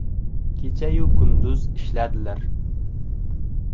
Kecha-yu kunduz ishladilar.